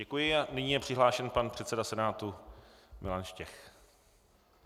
Děkuji a nyní je přihlášen pan předseda Senátu Milan Štěch.